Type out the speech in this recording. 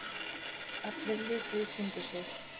Allir litu í kringum sig.